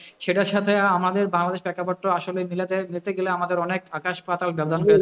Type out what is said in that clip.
সেটার সাথে আমাদের বাংলাদেশের প্রেক্ষাপটটা আসলেও মিলে যায়, যেতে গেলে আমাদের আকাশ পাতাল